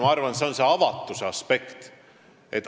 Ma arvan, et see on see avatuse aspekt.